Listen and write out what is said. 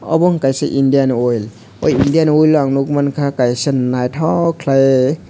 obo ungkha kaisa indian oil o india oil o ang nuk mankha kaisa naithok khlai.